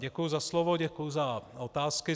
Děkuji za slovo, děkuji za otázky.